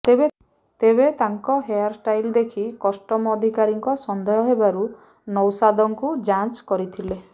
ତେବେ ତାଙ୍କ hair style ଦେଖି କଷ୍ଟମ ଅଧିକାରୀଙ୍କ ସନ୍ଦେହ ହେବାରୁ ନୌସାଦଙ୍କୁ ଯାଞ୍ଚ କରିଥିଲେ